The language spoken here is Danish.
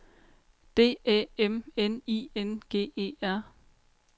D Æ M N I N G E R